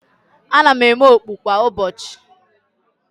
Ana m eme okpu kwa ụbọchị